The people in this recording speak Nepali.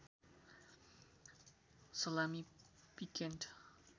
salami piccante